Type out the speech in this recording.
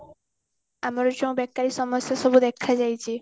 ଆମର ଯୋଉ ବେକାରି ସମସ୍ଯା ସବୁ ଦେଖା ଯାଇଛି